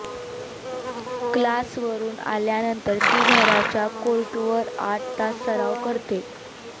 क्लासवरून आल्यानंतर ती घरच्या कोर्टवर आठ तास सराव करते